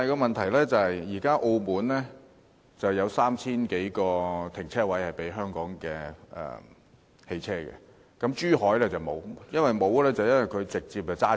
問題是現時澳門有3000多個停車位供香港的汽車使用，但珠海卻沒有，所以車輛可以直接駛走。